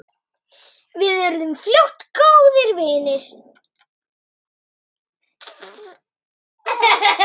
Við urðum fljótt góðir vinir.